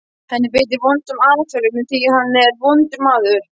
Hann beitir vondum aðferðum af því hann er vondur maður.